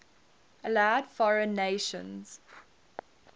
allowed foreign nations